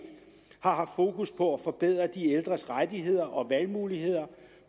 har haft fokus på at forbedre de ældres rettigheder og valgmuligheder